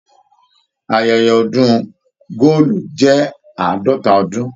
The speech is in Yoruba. Ayẹyẹ ọdun góòlù jẹ àádọta ọdún.